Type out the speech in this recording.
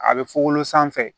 A bɛ fugolo sanfɛ